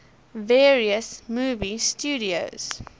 various movie studios